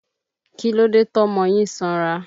Kílódé tọ́mọ yín sanra?